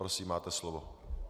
Prosím, máte slovo.